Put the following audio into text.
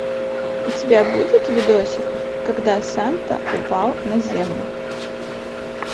у тебя будет видосик когда санта упал на землю